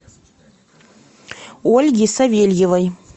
ольги савельевой